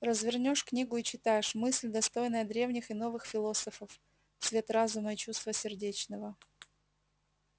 развернёшь книгу и читаешь мысль достойная древних и новых философов цвет разума и чувства сердечного